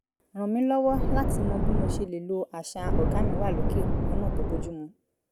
ràn mí lọ́wọ́ láti mọ bí mo ṣe lè lo àṣà "ọ̀gá mi wà lókè" lọ́nà tó bójú mu